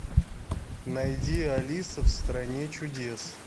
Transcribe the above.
найди алиса в стране чудес